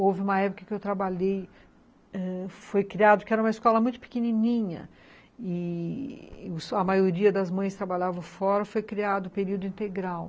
Houve uma época que eu trabalhei, ãh, foi criado, que era uma escola muito pequenininha, e a maioria das mães trabalhavam fora, foi criado o período integral.